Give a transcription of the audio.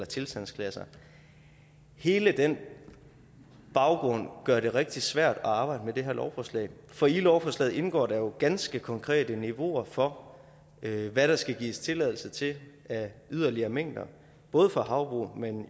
tilstandsklasser hele den baggrund gør det rigtig svært at arbejde med det her lovforslag for i lovforslaget indgår der jo ganske konkrete niveauer for hvad der skal gives tilladelse til af yderligere mængder både for havbrug men